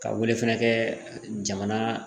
Ka welefɛn kɛ jamana